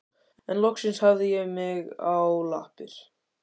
En loksins hafði ég mig á lappir.